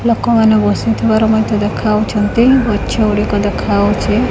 ଲୋକମାନେ ବସିଥିବାର ମଧ୍ୟ ଦେଖାଯାଉଛନ୍ତି ଗଛଗୁଡ଼ିକ ଦେଖାଉଛି।